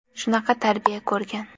Shunaqa tarbiya ko‘rgan.